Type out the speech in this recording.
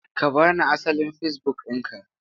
Ka ba ni asalin Facebook ɗinka!